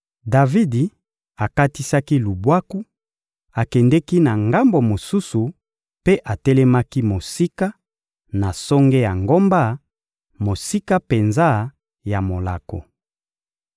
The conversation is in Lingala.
Davidi akatisaki lubwaku, akendeki na ngambo mosusu mpe atelemaki mosika, na songe ya ngomba, mosika penza ya molako.